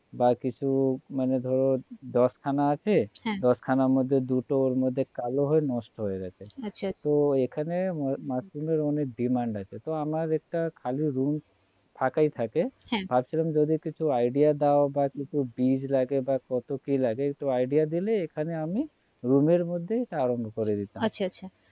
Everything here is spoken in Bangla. ফাঁকাই থাকে হ্যাঁ ভাবছিলাম যদি কিছু idea দাও বা কিছু বীজ লাগে বা কত কি লাগে একটু idea দিলে এখানে আমি room এর মধ্যে এটা আরম্ভ করে দিতাম আচ্ছা আচ্ছা